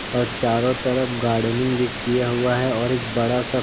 और चारों तरफ गार्डेनइंग भी किया हुआ है और एक बड़ा सा --